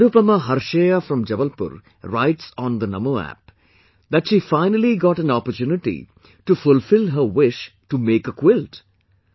Nirupama Harsheya from Jabalpur writes on the Namo app, that she finally got an opportunity to fulfil her wish to make a quilt